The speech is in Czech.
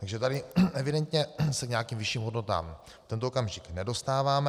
Takže tady evidentně se k nějakým vyšším hodnotám v tento okamžik nedostáváme.